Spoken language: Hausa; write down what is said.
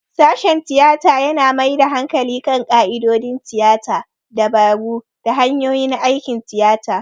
Sashen tiyata yana mai da hankali kan ƙa'idodin tiyata, dabaru, da hanyoyin aikin tiyata.